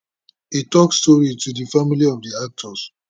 e tok sorry to di family of di actors